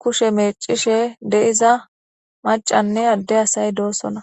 kushe meecishe deiza macanne adde asay doosona.